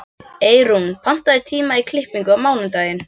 Eyrún, pantaðu tíma í klippingu á mánudaginn.